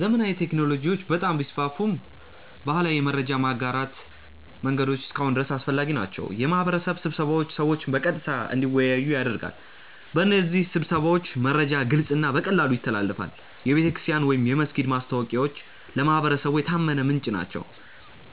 ዘመናዊ ቴክኖሎጂዎች በጣም ቢስፋፉም ባህላዊ የመረጃ ማጋራት መንገዶች እስካሁን ድረስ አስፈላጊ ናቸው። የማህበረሰብ ስብሰባዎች ሰዎችን በቀጥታ እንዲወያዩ ያደርጋሉ። በእነዚህ ስብሰባዎች መረጃ ግልጽ እና በቀላሉ ይተላለፋል። የቤተክርስቲያን ወይም የመስጊድ ማስታወቂያዎች ለማህበረሰቡ የታመነ ምንጭ ናቸው።